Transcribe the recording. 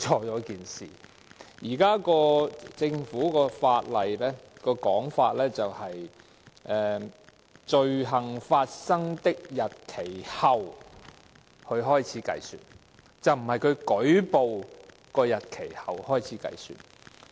現時政府的法案的說法是由"罪行發生的日期後"開始計算，而並非由舉報的日期後開始計算。